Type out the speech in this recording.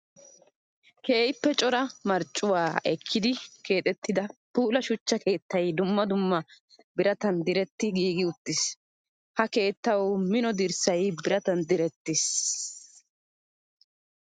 Keehippe cora marccuwa ekkiddi keexettidda puula shuchcha keettay dumma dumma birattan diretti giigi uttiis. Ha keettawu mino dirssay biratan direttiis.